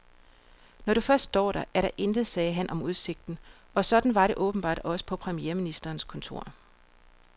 Når du først står der, er der intet, sagde han om udsigten, og sådan var det åbenbart også på premierministerens kontor.